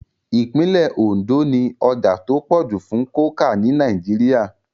Ìpínlẹ̀ Ondo ní ọjà tó pọ̀ jù fún kókà ní Nàìjíríà